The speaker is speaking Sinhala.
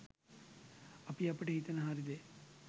අපි අපට හිතෙන හරි දේ